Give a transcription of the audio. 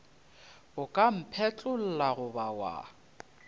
o ka mphetlolla goba wa